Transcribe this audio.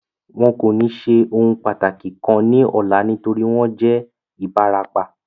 Wọn kò ní ṣe ohun pàtàkì kan ní ọlá nítorí wọ́n jẹ́ Ibarapa